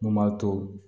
Mun b'a to